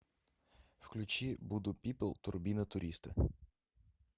включи буду пипл турбина туриста